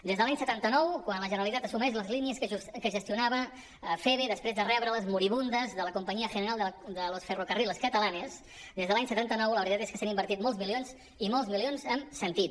des de l’any setanta nou quan la generalitat assumeix les línies que gestionava feve després de rebre les moribundes de la compañía general de los ferrocarriles catalanes des de l’any setanta nou la veritat és que s’han invertit molts milions i molts milions amb sentit